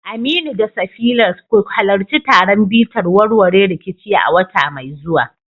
Aminu da Safira, ku halarci taron bitar warware rikici a wata mai zuwa